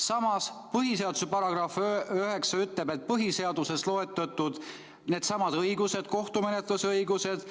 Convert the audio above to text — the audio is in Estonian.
" Samas põhiseaduse § 9 ütleb, et põhiseaduses loetletud õigused